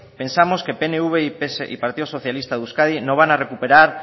pensamos que pnv y partido socialista de euskadi no van a recuperar